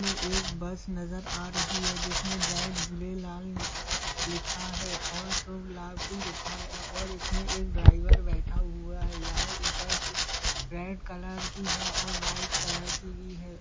ये एक बस नज़र आ रही है जिसमे जय झूलेलाल लिका लिखा है और शुभ लाभ भी लिखा है और इसमें एक ड्राइवर बैठा हुआ है यहाँ ऊपर से रेड कलर की है और वाइट कलर की भी है।